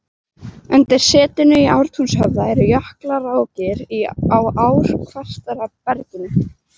Undir setinu í Ártúnshöfða eru jökulrákir á ár-kvartera berginu.